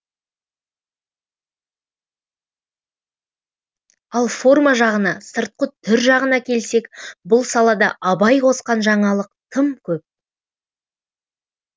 ал форма жағына сыртқы түр жағына келсек бұл салада абай қосқан жаңалық тым көп